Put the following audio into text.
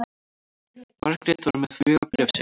Margrét var með vegabréfið sitt.